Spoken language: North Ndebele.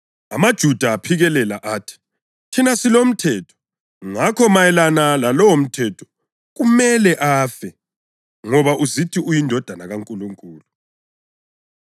AmaJuda aphikelela athi, “Thina silomthetho, ngakho mayelana lalowomthetho kumele afe ngoba uzithi uyiNdodana kaNkulunkulu.”